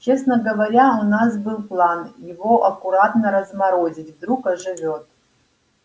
честно говоря у нас был план его аккуратно разморозить вдруг оживёт